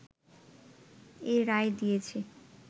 এই রায় দিয়েছে